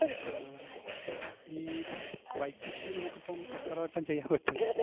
ആഹ് ഈ bike issue നമ്മക്കിപ്പം എത്രവട്ടം ചെയ്യാൻ പറ്റും?